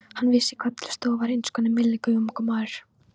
Hann vissi hvað til stóð og var einskonar milligöngumaður.